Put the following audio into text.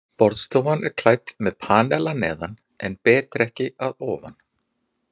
Borðstofan er klædd með panel að neðan en betrekki að ofan.